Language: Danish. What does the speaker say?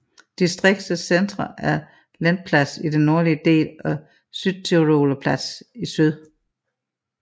Distriktets centre er Lendplatz i den nordlige del og Südtiroler Platz i syd